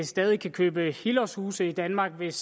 stadig kan købe helårshuse i danmark hvis